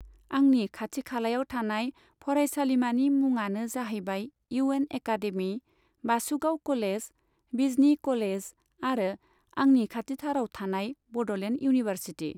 आंनि खाथि खालायाव थानाय फरायसालिमानि मुङानो जाहैबाय U N academy, Basugaon college, Bijni college आरो आंनि खाथिथाराव थानाय बड'लेण्ड इउनिभारसिटि।